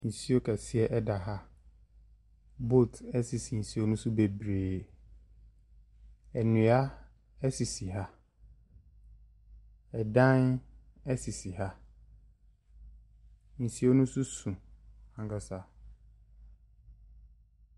Nsuo kɛseɛ da ha a boat sisi nsuo ne so bebree. Nnua sisi ha. Dan sisi ha. Nsuo no nso so ankasa.